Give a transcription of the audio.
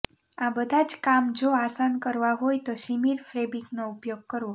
આ બધાં જ કામ જો આસાન કરવાં હોય તો શિમર ફેબ્રિકનો ઉપયોગ કરવો